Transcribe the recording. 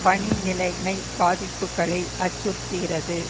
பணி நிலைமை பாதிப்புக்களை அச்சுறுத்துகிறது